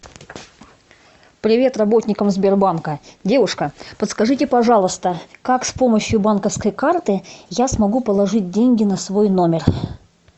привет работникам сбербанка девушка подскажите пожалуйста как с помощью банковской карты я смогу положить деньги на свой номер